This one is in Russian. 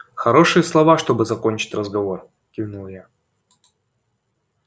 хорошие слова чтобы закончить разговор кивнул я